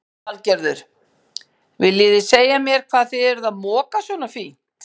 Lillý Valgerður: Viljið þið segja mér hvað þið eruð að moka svona fínt?